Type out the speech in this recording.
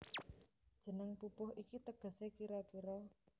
Jeneng pupuh iki tegesé kira kira